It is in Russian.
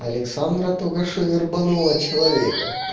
александра только что вербанула человека